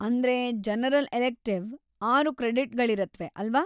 ಅಂದ್ರೆ general elective ಆರು ಕ್ರೆಡಿಟ್ಗಳಿಗಿರತ್ವೆ, ಅಲ್ವಾ?